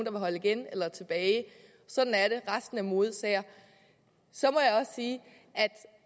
holde igen eller tilbage sådan er det resten er modesager så må